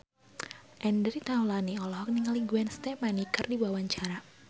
Andre Taulany olohok ningali Gwen Stefani keur diwawancara